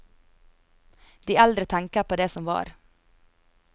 De eldre tenker på det som var.